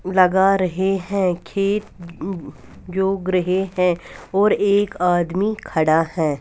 लगा रहे है खेत जो ग्रहे है और एक आदमी खड़ा है।